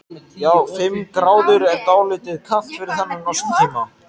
Já, fimm gráður er dálítið kalt fyrir þennan árstíma.